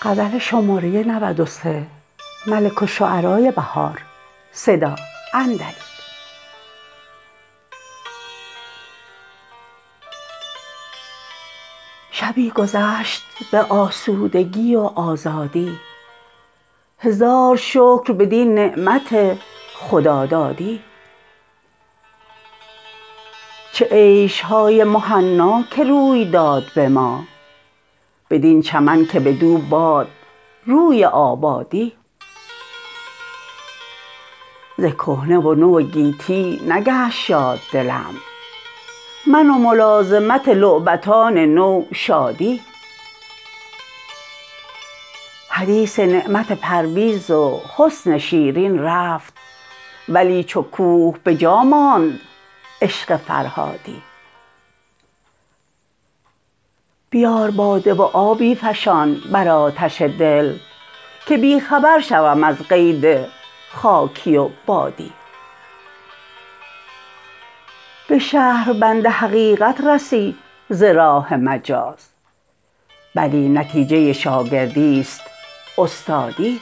شبی گذشت به آسودگی و آزادی هزار شکر بدین نعمت خدادادی چه عیش های مهنا که روی داد به ما بدین چمن که بدو باد روی آبادی ز کهنه و نو گیتی نگشت شاد دلم من و ملازمت لعبتان نو شادی حدیث نعمت پرویز و حسن شیرین رفت ولی چوکوه بجا ماند عشق فرهادی بیار باده و آبی فشان بر آتش دل که بی خبر شوم از قید خاکی و بادی به شهربند حقیقت رسی ز راه مجاز بلی نتیجه شاگردیست استادی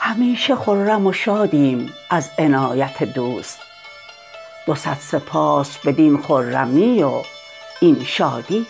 همیشه خرم و شادیم از عنایت دوست دوصد سپاس بدین خرمی و این شادی